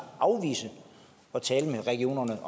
afvise at tale med regionerne